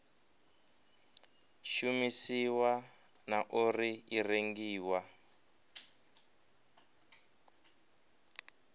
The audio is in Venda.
shumisiwa na uri i rengiwa